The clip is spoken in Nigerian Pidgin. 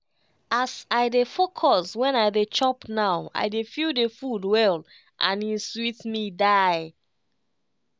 as i dey focus when i dey chop now i dey feel the food well and e sweet me die.